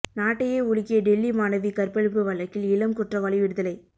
நாட்டையே உலுக்கிய டெல்லி மாணவி கற்பழிப்பு வழக்கில் இளம் குற்றவாளி விடுதலை